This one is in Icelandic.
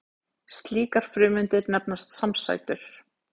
slíkar frumeindir nefnast samsætur